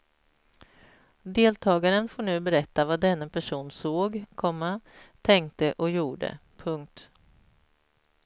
Deltagaren får nu berätta vad denne person såg, komma tänkte och gjorde. punkt